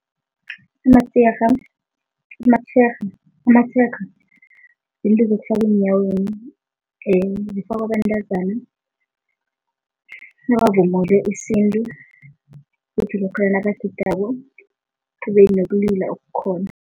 Amatshega amatshega amatshega yinto zokufaka eenyaweni, zifakwa bantazana nabavunule isintu, kuthi lokha nabagidako kube nokulila okukhona.